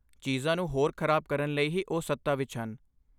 ਚੀਜ਼ਾਂ ਨੂੰ ਹੋਰ ਖ਼ਰਾਬ ਕਰਨ ਲਈ ਹੀ ਉਹ ਸੱਤਾ ਵਿੱਚ ਹਨ।